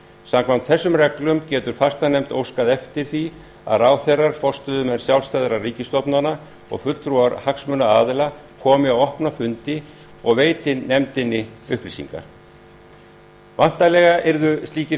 samkvæmt þessum reglum getur fastanefnd óskað eftir því að ráðherrar forstöðumenn sjálfstæðra ríkisstofnana og fulltrúar hagsmunaaðila komi á opna fundi og veiti nefndinni upplýsingar væntanlega yrðu slíkir